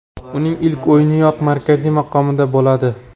Uning ilk o‘yiniyoq markaziy maqomida bo‘ladi.